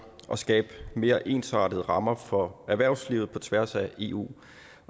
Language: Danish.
og skabe mere ensartede rammer for erhvervslivet på tværs af eu